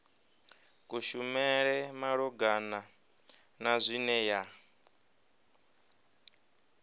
kushumele malugana na zwine ya